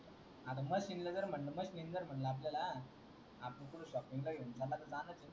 आत्ता म्हणलं आपल्याला आपण कुठं जाणारच ये